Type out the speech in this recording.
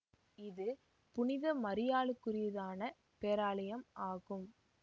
இது புனித மரியாளுக்குரித்தான பேராலயம் ஆகும்